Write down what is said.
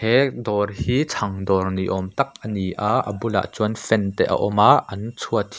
he dâwr hi chhang dâwr ni âwm tak a ni a a bulah chuan fan te a awm a an chhuat--